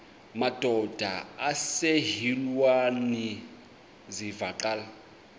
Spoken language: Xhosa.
madod asesihialweni sivaqal